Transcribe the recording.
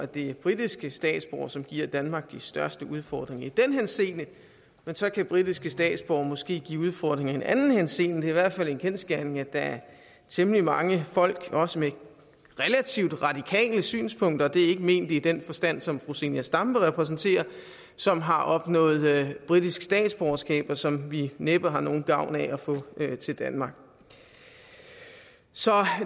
det er britiske statsborgere som giver danmark de største udfordringer i den henseende men så kan britiske statsborgere måske give udfordringer i en anden henseende det er i hvert fald en kendsgerning at der er temmelig mange folk også med relativt radikale synspunkter og det er ikke ment i den forstand som fru zenia stampe repræsenterer som har opnået britisk statsborgerskab og som vi næppe har nogen gavn af at få til danmark så